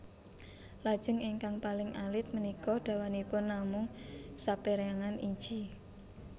Lajeng ingkang paling alit punika dawanipun namung sapérangan inci